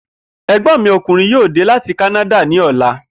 È̩gbó̩n mi o̩kùnrin yóò dé láti Kánádà ní ò̩la